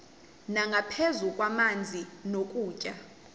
nangaphezu kwamanzi nokutya